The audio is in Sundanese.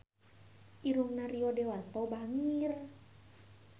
Irungna Rio Dewanto bangir